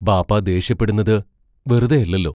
ബാപ്പാ ദേഷ്യപ്പെടുന്നത് വെറുതെയല്ലല്ലോ.